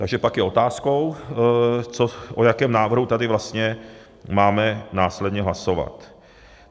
Takže pak je otázkou, o jakém návrhu tady vlastně máme následně hlasovat.